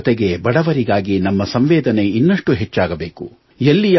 ಜೊತೆಜೊತೆಗೆ ಬಡವರಿಗಾಗಿ ನಮ್ಮ ಸಂವೇದನೆ ಇನ್ನಷ್ಟು ಹೆಚ್ಚಾಗಬೇಕು